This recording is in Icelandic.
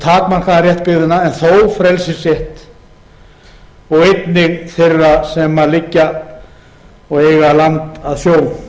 byggðanna lítinn takmarkaðan rétt byggðanna en þó frelsisrétt og einnig þeirra sem liggja og eiga land að sjó sjávarjarðanna